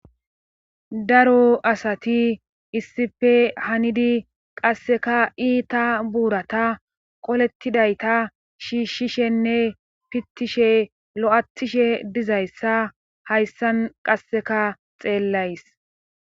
daro asati issife hanidi qasseka iita buurata qolettidayta shiishshishenne pittishe lo7attishe dizayssa hayssan qasseka xeellays